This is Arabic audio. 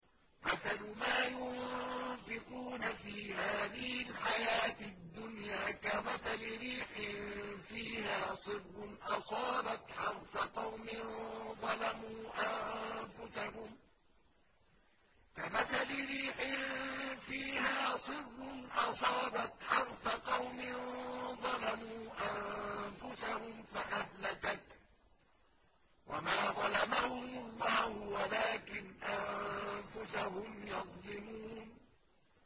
مَثَلُ مَا يُنفِقُونَ فِي هَٰذِهِ الْحَيَاةِ الدُّنْيَا كَمَثَلِ رِيحٍ فِيهَا صِرٌّ أَصَابَتْ حَرْثَ قَوْمٍ ظَلَمُوا أَنفُسَهُمْ فَأَهْلَكَتْهُ ۚ وَمَا ظَلَمَهُمُ اللَّهُ وَلَٰكِنْ أَنفُسَهُمْ يَظْلِمُونَ